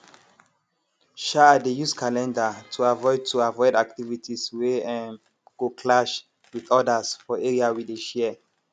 um i dey use calendar to avoid to avoid activities wey um go clash with others for area we dey share